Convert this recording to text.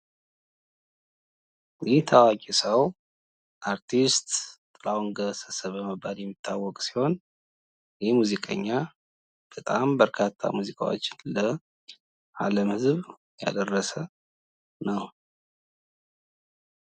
ይህ ታዋቂ ሰው አርቲስት ጥላሁን ገሰሰ በመባል የሚታወቅ ሲሆን ይሄ ሙዚቀኛ በጣም በርካታ ሙዚቃዎችን ለአለም ህዝብ ያደረሰ ነው።